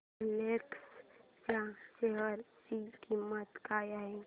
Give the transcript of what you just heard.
Reliance च्या share ची किंमत काय आहे